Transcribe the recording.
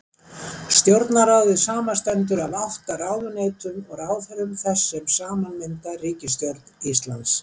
stjórnarráðið samanstendur af átta ráðuneytum og ráðherrum þess sem saman mynda ríkisstjórn íslands